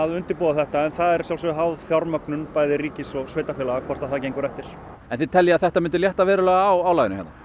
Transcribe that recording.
undirbúa þetta en það er að sjálfsögðu háð fjármögnun bæði ríkis og sveitarfélaga hvort það gengur eftir en þið teljið að þetta myndi létta verulega á álaginu hérna